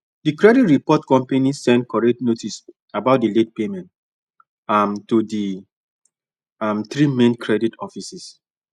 the credit report company send correct notice about the late payment um to the um three main credit offices